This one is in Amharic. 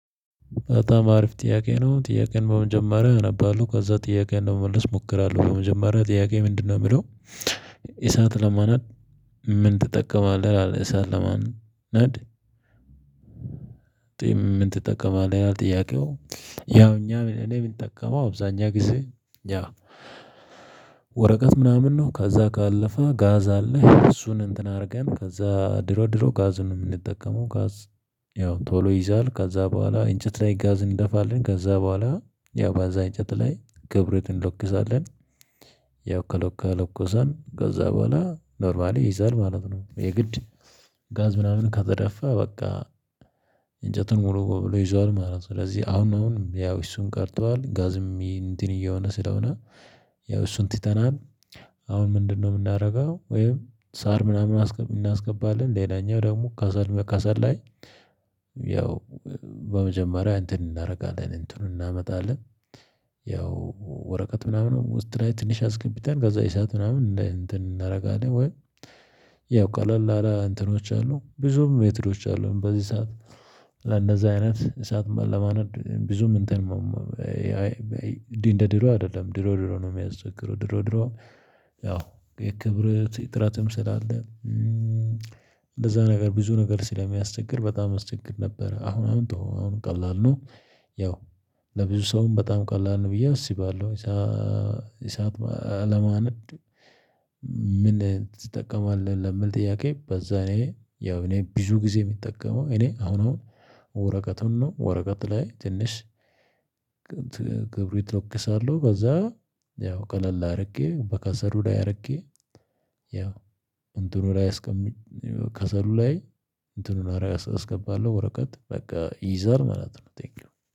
በጣም አሪፍ ጥያቄ ነው ጥያቄን በመጀመሪያ አነባለሁ ከዛ ጥያቄን ነው መመለስ እሞክራለሁ በመጀመሪያ ጥያቄ ምንድነው የሚለው የምለው እሳት ለማነድ። ምን ትጠቀማለህ አለህ እሳት ለማነድ? ጥያቄው ያው እኛ እኔ የምንጠቀመው አብዛኛ ጊዜ። ያው ወረቀት ምናምን ነው ከዛ ካለፈ ጋዝ አለ እሱን እንትን አድርገን ከዛ ድሮ ድሮ ጋዙን የምንጠቀመው ጋዝ። ያው ቶሎ ይይዛል ከዛ በኋላ እንጨት ላይ ጋዝ እንደፋለን ከዛ በኋላ ያው በዛ እንጨት ላይ ክብሪት እንለኩሳለን። ያው ከለኮ ከለኮሰን ከዛ በኋላ ኖርማሊ ይይዛል ማለት ነው። የግድ ጋዝ ምናምን ከተደፋ በቃ። እንጨቱን ሙሉ ብሎ ይዟል ማለት ነው። ስለዚህ አሁን አሁን ያው እሱን ቀርቷል ጋዝም እንትን እየሆነ ስለሆነ ያው እሱን ትተናል። አሁን ምንድነው የምናደርገው? ወይም ሳር ምናምን እናስገባለን ሌላኛው ደግሞ ከሰል በከሰል ላይ። ያው በመጀመሪያ እንትን እናደርጋለን እንትኑን እናመጣለን። ያው ወረቀት ምናምን ውስጥ ላይ ትንሽ አስገቢተን ገዛ የሰዓት ምናምን እንትን እናደርጋለን ወይ። ያው ቀለል አለ እንትኖች አሉ ብዙም ሜትዶች አሉ በዚህ ሰዓት። ለእነዚህ አይነት ሰዓት ለማነድ ብዙም እንትን። እንደ ድሮ አይደለም ድሮ ድሮ ነው የሚያስቸግሩ ድሮ ድሮ። ያው የክብርት እጥረትም ስላለ። እንደዛ ነገር ብዙ ነገር ስለሚያስቸግር በጣም አስቸግር ነበር። አሁን አሁን ቀላል ነው። ያው ለብዙ ሰውም በጣም ቀላል ነው ብዬ አስባለሁ የሰዓት ለማነድ። ምን ትጠቀማለህ? ለምን ጥያቄ በዛ እኔ ያው እኔ ብዙ ጊዜ የምጠቀመው እኔ አሁን አሁን። ወረቀቱን ነው ወረቀት ላይ ትንሽ። ክብሪት ለኩሳለው ከዛ። ያው ቀለል አድርጌ በከሰሉ ላይ አድርጌ። ያው እንትኑ ላይ አስቀሚ ከሰሉ ላይ። እንትኑን አርአያ አስገባለሁ ወረቀት በቃ ይይዛል ማለት ነው። ቴክዩን